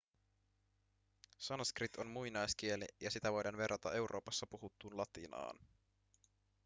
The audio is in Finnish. sanskrit on muinaiskieli ja sitä voidaan verrata euroopassa puhuttuun latinaan